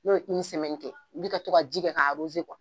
N'o ye kɛ i bi ka to ka ji kɛ k'a .